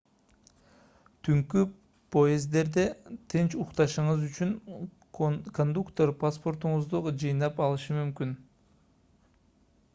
түнкү поезддерде тынч укташыңыз үчүн кондуктор паспортторуңузду жыйнап алышы мүмкүн